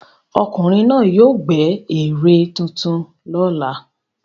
Ọkùnrin náà yóò gbẹ́ ère tuntun lọ́la.